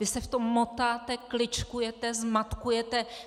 Vy se v tom motáte, kličkujete, zmatkujete.